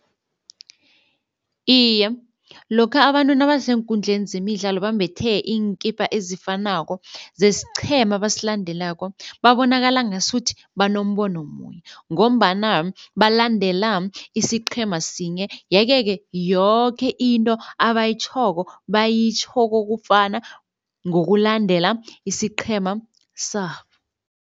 Iye, lokha abantu nabaseenkundleni zemidlalo bambethe iinkipa ezifanako zesiqhema abasilandelako, babonakala ngasuthi banombono munye ngombana balandela isiqhema sinye yeke-ke yoke into abayitjhoko bayitjho kokufana ngokulandela isiqhema sabo.